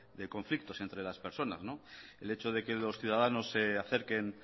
de conflictos entre las personas el hecho de que los ciudadanos se acerquen